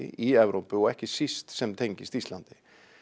í Evrópu og ekki síst sem tengist Íslandi